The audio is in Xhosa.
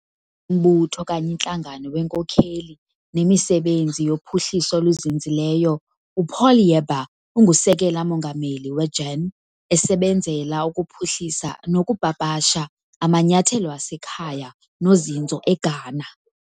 Mbutho okanye intlangano wenkokheli nemisebenzi yophuhliso oluzinzileyo. uPaul Yeboah ungusekela mongameli weGEN esebenzela ukuphuhlisa nokupapasha amanyathelo asekhaya nozinzo eGhana.